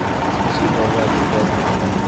Ipchii kooko amitwakik